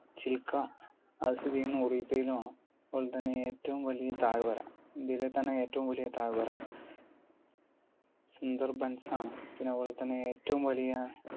ചിൽക്ക അപ്പോൾത്തന്നെ ഏറ്റവും വലിയ താഴ്വര. ഇന്ത്യയിലെത്തന്നെ ഏറ്റവും വലിയ താഴ്വര? സുന്ദർബെൻസ് ആണ്.